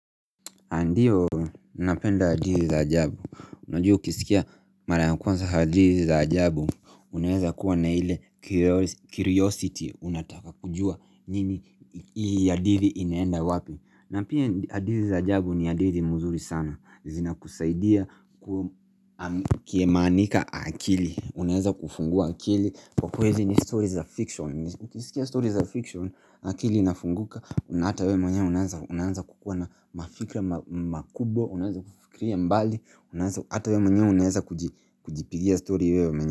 Ndio, napenda hadithi za ajabu, unajua ukisikia mara ya kwanza hadithi za ajabu, unaweza kuwa na ile curiosity, unataka kujua nini hii hadithi inaenda wapi na pia hadithi za ajabu ni hadithi mzuri sana, zinakusaidia kiemanika akili, unaweza kufungua akili Kwa kweli ni stories of fiction Ukisikia stories of fiction akili inafunguka Unaata we mwenye unaanza kukuwa na mafikra makubwa Unaanza kufikiria mbali Unaanza ata we mwenye unaanza kujipigia story wewe mwenyewe.